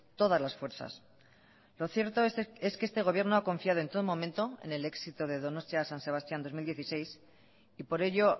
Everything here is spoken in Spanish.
todas las fuerzas lo cierto es que este gobierno ha confiado en todo momento en el éxito de donostia san sebastián dos mil dieciséis y por ello